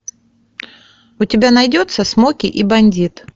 у тебя найдется смоки и бандит